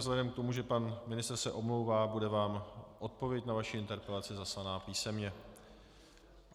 Vzhledem k tomu, že pan ministr se omlouvá, bude vám odpověď na vaši interpelaci zaslaná písemně.